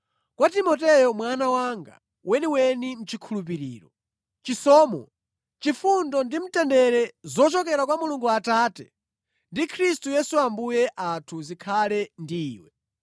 Kwa Timoteyo mwana wanga weniweni mʼchikhulupiriro. Chisomo, chifundo ndi mtendere zochokera kwa Mulungu Atate ndi Khristu Yesu Ambuye athu zikhale ndi iwe.